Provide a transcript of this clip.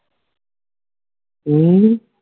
ਹਮ